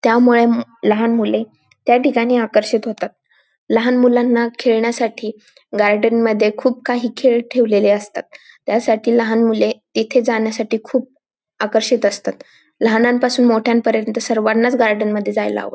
त्यामुळे लहान मुले त्या ठिकाणी आकर्षित होतात लहान मुलाणा खेळण्यासाठी गार्डन मध्ये खूप काही खेळ ठेवलेले असतात त्या साठी लहान मुले येथे जाण्यासाठी खूप आकर्षित असतात लहानांपासून मोठयान पर्यन्त सर्वांनाच गार्डन मध्ये जायला आवड --